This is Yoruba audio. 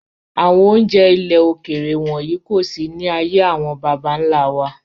Àwọn oúnjẹ ilẹ̀ òkèèrè wọ̀nyí kò sí ní ayé àwọn bàbà ńlá wa.